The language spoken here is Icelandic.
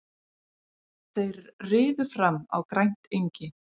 Þeir riðu fram á grænt engi.